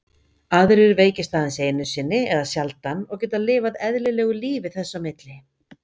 Aðrir veikjast aðeins einu sinni eða sjaldan og geta lifað eðlilegu lífi þess á milli.